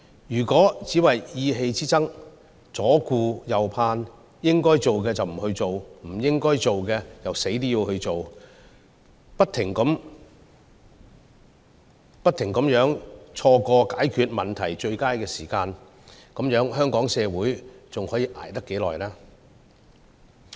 如果政府只為意氣之爭、左顧右盼，應該做的不去做，不應該做的卻怎樣也要做，不斷錯過解決問題的最佳時機，這樣香港社會還可以捱多久？